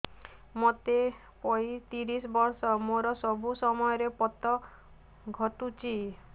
ମୋତେ ପଇଂତିରିଶ ବର୍ଷ ମୋର ସବୁ ସମୟରେ ପତ ଘଟୁଛି